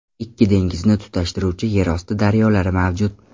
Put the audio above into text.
Ikki dengizni tutashtiruvchi yer osti daryolari mavjud.